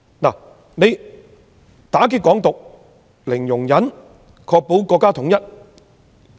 政府對"港獨"零容忍，以確保國家統一。